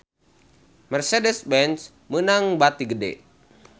Mercedez-Benz meunang bati gede